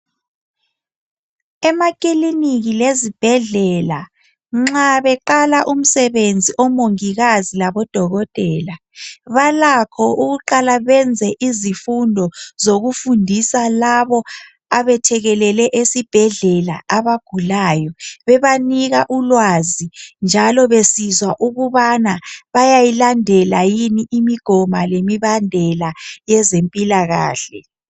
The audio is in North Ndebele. Emakiliniki lazibhedlela, nxa beqala umsebenzi omungikazi labodokotela, balakho baqala benze izifundo zokufundisa labo abayethekekele esibhedlela abagulayo. Bebanika ulazi, njalo besizwa ngokubana bayayilandela yini imigoma lemibambela yezempilakahle.